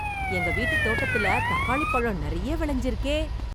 எங்க வீட்டு தோட்டத்துல தக்காளிப் பழம் நெறைய விளைஞ்சிருக்கே...